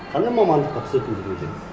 қандай мамандыққа түсетінім білмей жүрдім